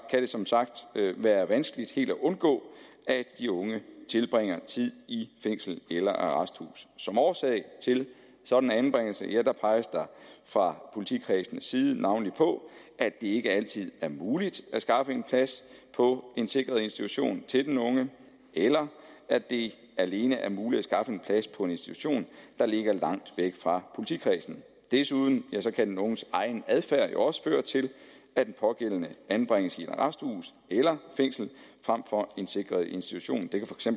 kan det som sagt være vanskeligt helt at undgå at de unge tilbringer tid i fængsel eller arresthus som årsag til en sådan anbringelse peges der fra politikredsenes side navnlig på at det ikke altid er muligt at skaffe plads på en sikret institution til den unge eller at det alene er muligt at skaffe plads på en institution der ligger langt væk fra politikredsen desuden kan den unges egen adfærd jo også føre til at den pågældende anbringes i et arresthus eller fængsel frem for en sikret institution